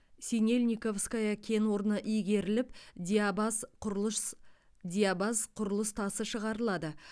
синельниковское кен орны игеріліп диабаз құрылыс диабаз құрылыс тасы шығарылады